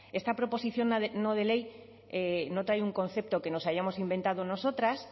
esta proposición no de ley no trae un concepto que nos hayamos inventado nosotras